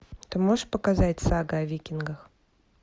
ты можешь показать сага о викингах